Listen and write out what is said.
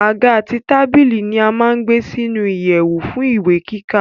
Àga àti tábìlì ni a má gbé sínu ìyèwù fún ìwé kíkà